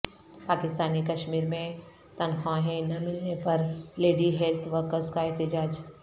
پاکستانی کشمیر میں تنخواہیں نہ ملنے پر لیڈی ہیلتھ ورکرز کا احتجاج